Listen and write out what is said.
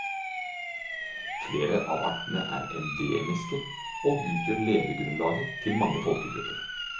Flere av artene er endemiske og utgjør levegrunnlaget til mange folkegrupper.